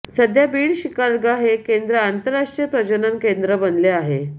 सध्या बीड शिकारगा हे केंद्र आंतरराष्ट्रीय प्रजनन केंद्र बनले आहे